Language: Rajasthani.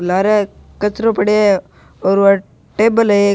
लारे कचरो पड़यो है और वह टेबल है एक।